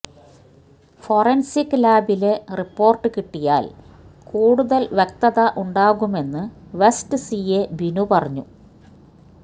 forensic ലാബിലെ report കിട്ടിയാല് കൂടുതല് വ്യക്തത ഉണ്ടാകുമെന്ന് വെസ്റ്റ് സിഐ ബിനു പറഞ്ഞു